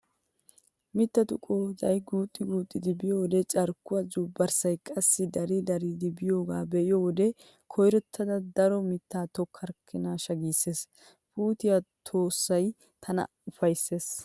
Mittatu qooday guuxxi guuxxidi biyoode carkkuwaa zuubbarssaykka qassi dari daridi biyogaa be'iyo wode "koyrottidi daro mittaa tokkorkkoniishsha" giisees. Puutiya tossay tana ufayssees.